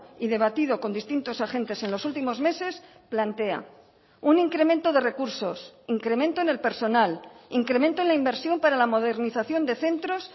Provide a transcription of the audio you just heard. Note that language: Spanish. y debatido con distintos agentes en los últimos meses plantea un incremento de recursos incremento en el personal incremento en la inversión para la modernización de centros